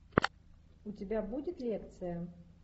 у тебя будет лекция